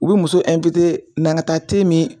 U bɛ muso na an ka taa te min